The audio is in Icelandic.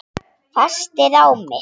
Festi ráð mitt